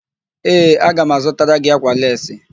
Ee, aga m azụtara gị ákwà leesi.